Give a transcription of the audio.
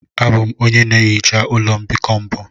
Abụ m onye na-ehicha ụlọ mbikọ mbụ.